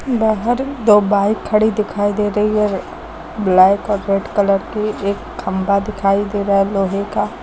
बाहर दो बाइक खड़ी दिखाई दे रही है ब्लैक और रेड कलर की एक खंभा दिखाई दे रहा है लोहे का--